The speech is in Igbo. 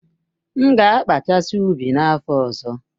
M ga-akpachasi ụbi n'afọ ọzọ.